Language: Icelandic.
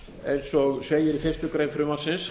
eins og segir í fyrstu grein frumvarpsins